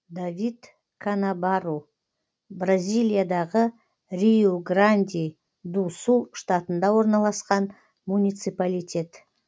давид канабарру бразилиядағы риу гранди ду сул штатында орналасқан муниципалитет